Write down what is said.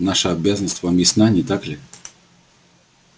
наша обязанность вам ясна не так ли